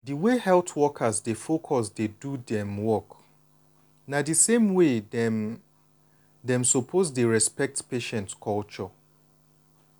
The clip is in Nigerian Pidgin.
di way health workers dey focus do dem work na the same way dem dem suppose dey respoect patients culture.